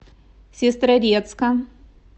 сестрорецка